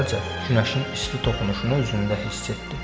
Əvvəlcə günəşin isti toxunuşunu üzündə hiss etdi.